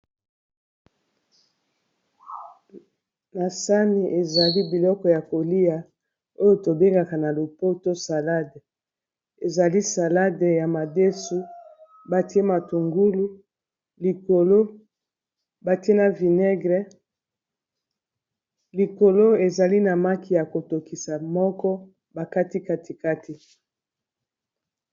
Na sani ezali biloko ya kolia oyo tobengaka na lopoto salade, ezali salade ya madesu batie matungulu likolo batie na vinaigre likolo ezali na maki ya kotokisa moko bakati kati kati.